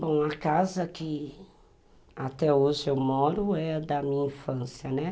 Bom, a casa que até hoje eu moro é da minha infância, né.